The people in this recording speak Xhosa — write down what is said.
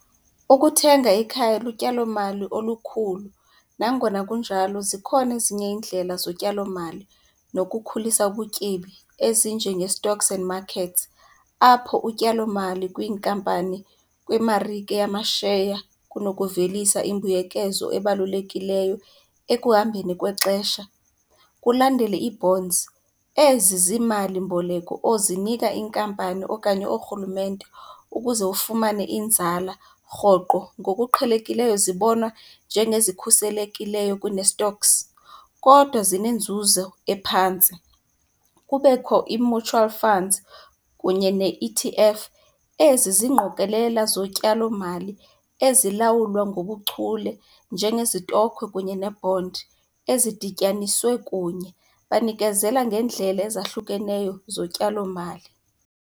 Ukuthenga ikhaya lutyalomali olukhulu, nangona kunjalo zikhona ezinye iindlela zotyalomali nokukhulisa ubutyebi ezinjenge-stocks and markets, apho utyalomali kwinkampani, kwimarike yamasheya kunokuvelisa imbuyekezo ebalulekileyo ekuhambeni kwexesha. Kulandele ii-bonds, ezi ziimalimboleko ozinika iinkampani okanye oorhulumente ukuze ufumane inzala rhoqo. Ngokuqhelekileyo zibonwa njengezikhuselekileyo kunee-stocks, kodwa zinenzuzo ephantsi. Kubekho ii-mutual funds kunye ne E_T_F, ezi ziingqokelela zotyalomali ezilawulwa ngobuchule njengezitokhwe kunye ne-bond ezidityaniswe kunye, banikezela ngeendlela ezahlukeneyo zotyalomali.